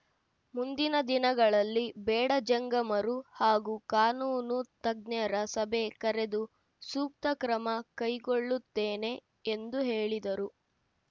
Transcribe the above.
ಮುಂದಿನ ದಿನಗಳಲ್ಲಿ ಬೇಡ ಜಂಗಮರು ಹಾಗೂ ಕಾನೂನು ತಜ್ಞರ ಸಭೆ ಕರೆದು ಸೂಕ್ತ ಕ್ರಮ ಕೈಗೊಳ್ಳುತ್ತೇನೆ ಎಂದು ಹೇಳಿದರು